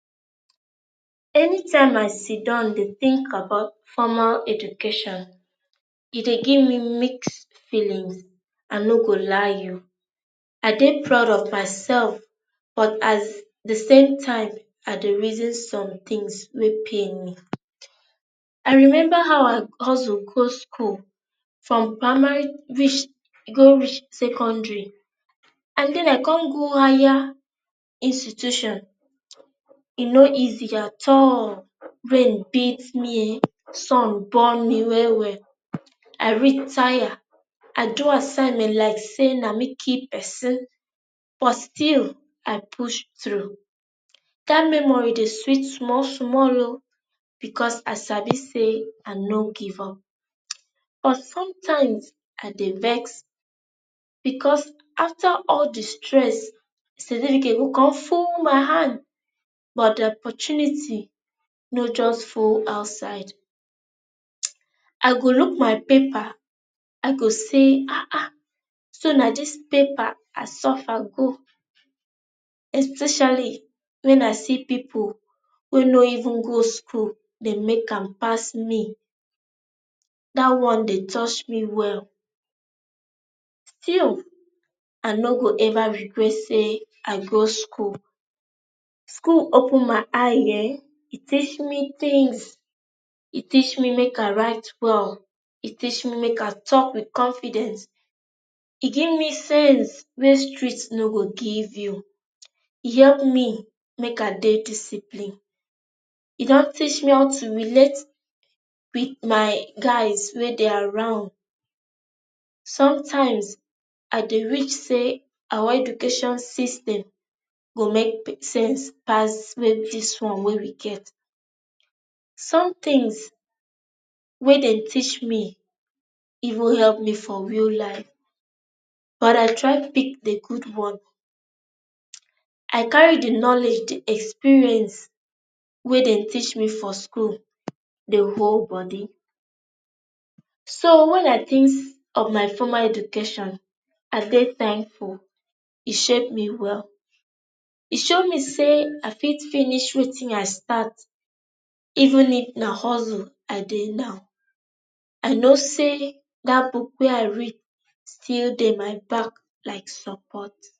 any time i sidon dey think about formal education e dey gimme mixed feelings, i no go lie you. i dey proud of myself but as the some time i dey reason somethings wey pain me. i remember how i hustle go schoolfrom parmary reach go reach secondary and then i con go higher institution um e no easy at all. rain beat me ehn, sun burn me well well. I read tire i do assignment like say na me kill pesin but still, i push through. that memory dey sweet small small ooo because i sabi say ah no give up.[um] but some times, ah dey vex because affter all the stress con full my hand but the opportunity no just full outside.[um] I go look my paper, i go say ahn ahan, so na dis paper i suffer go especially wen i see pipo wey no even go school dey make am pass me that one dey touch me well still, ah no go ever regret say i go school. school open my eye ehen, e teach me things e teach me make i write well, e teach me make i talk with confidence. e give me sense wey street no go give you[um] e help me make i dey discipline. e dun teach me how to relate with my guys wey dey around sometimes i dey which say our education system go make big sense pass wey dis one wey we get. some things wey dey teach me even help me for real life but i try pick the good one um i carry the knowledge, the experience wey dey teach me for school dey hold body. so when i thinks of my formal education i dey thankful. e shape me well. e show me say i fit finish wetin i start even if na hustle i dey now. i know say that book wey i read still dey my back like support.